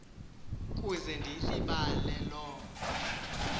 kuze ndiyilibale loo